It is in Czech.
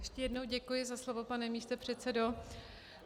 Ještě jednou děkuji za slovo, pane místopředsedo.